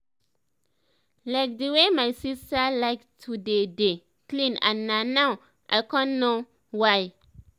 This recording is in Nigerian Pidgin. like di way my sister like to dey dey clean and na now i con know why